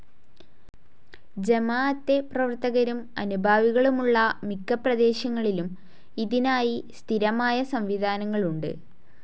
ജമാഅത്തെ പ്രവർത്തകരും അനുഭാവികളുമുള്ള മിക്കപ്രദേശങ്ങളിലും ഇതിനായി സ്ഥിരമായ സംവിധാനങ്ങളുണ്ട്.